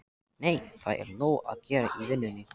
Nei, það er nóg að gera í vinnunni.